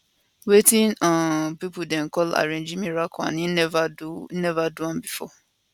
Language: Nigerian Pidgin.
wetin um pipo dem call arrangee miracle and im neva do neva do am bifor